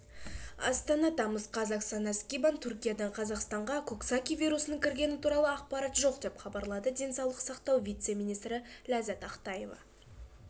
астана тамыз қаз оксана скибан түркиядан қазақстанға коксаки вирусының кіргені туралы ақпарат жоқ деп хабарлады денсаулық сақтау вице-министрі ләззәт ақтаева